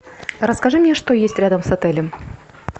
расскажи мне что есть рядом с отелем